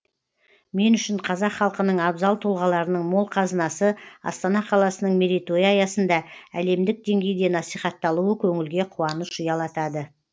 мен үшін қазақ халқының абзал тұлғаларының мол қазынасы астана қаласының мерейтойы аясында әлемдік деңгейде насихатталуы көңілге қуаныш ұялатады